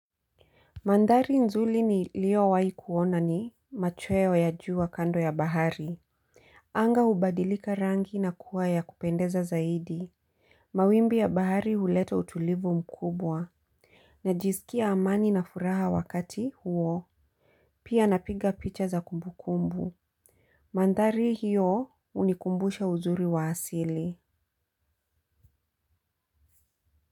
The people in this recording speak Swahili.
Mandhari nzuri niliowahi kuona ni machweo ya jua kando ya bahari. Anga hubadilika rangi na kuwa ya kupendeza zaidi. Mawimbi ya bahari huleta utulivu mkubwa. Najisikia amani na furaha wakati huo. Pia napiga picha za kumbu kumbu. Mandhari hiyo hunikumbusha uzuri wa asili.